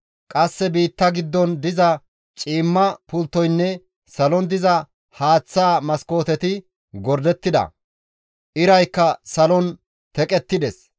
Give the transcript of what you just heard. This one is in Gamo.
Qasse biitta giddon diza ciimma pulttoynne salon diza haaththa maskooteti gordettida; iraykka salon teqettides.